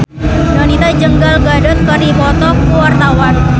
Donita jeung Gal Gadot keur dipoto ku wartawan